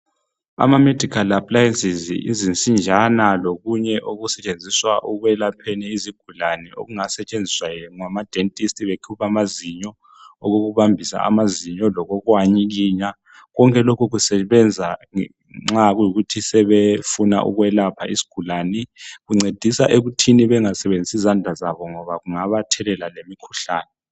Ama medical appliances yizinsinjana lokunye okusutshenziswa ekwelapheni izigulane okungasetshenziswa ngama dentist bekhupha amazinyo, okokubambisa amazinyo, lokokuwanyikinya, konke lokhu kusebenza nxa kuyikuthi sebefuna ukwelapha isgulane. Kuncedisa ekuthini bengasebenzisi izandla zabo ngoba kungabathelela lemikhuhlane.